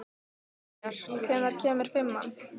Brynjar, hvenær kemur fimman?